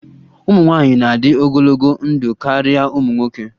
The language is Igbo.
Ụmụ nwanyị na-adị ogologo ndụ karịa ụmụ nwoke